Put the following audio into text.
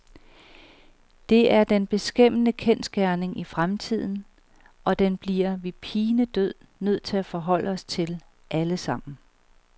Det er den beskæmmende kendsgerning i fremtiden, og den bliver vi pinedød nødt til at forholde os til, alle sammen.